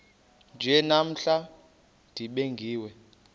nje namhla nibingiwe